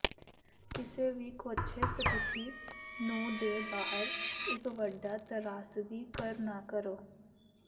ਕਿਸੇ ਵੀ ਕੋਝੇ ਸਥਿਤੀ ਨੂੰ ਦੇ ਬਾਹਰ ਇੱਕ ਵੱਡਾ ਤਰਾਸਦੀ ਕਰ ਨਾ ਕਰੋ